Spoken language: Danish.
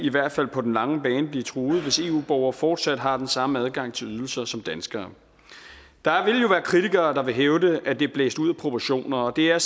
på den lange bane blive truet hvis eu borgere fortsat har den samme adgang til ydelser som danskere der vil jo være kritikere der vil hævde at det er blæst ud af proportioner og det er